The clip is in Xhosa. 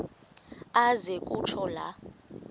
aze kutsho la